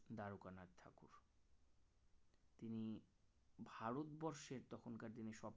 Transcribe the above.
তিনি ভারতবর্ষের তখনকার দিনে সবচেয়ে